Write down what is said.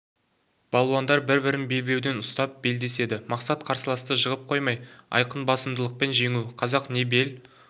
балуандар бір-бірін белбеуден ұстап белдеседі мақсат қарсыласты жығып қоймай айқын басымдылықпен жеңу қазақ не бел